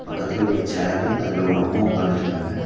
பக்கத்தல ஒரு சேர்ரு அதுல ஒரு அம்மா உக்காந்துட்டிக்காங்க